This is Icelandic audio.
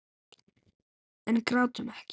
En grátum ekki.